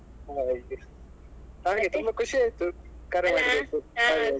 ಹಾಗೆ ಹಾಗೆ ತುಂಬ ಖುಷಿಯಾಯ್ತು ಕರೆ ಮಾಡಿದ್ದಕ್ಕೂ .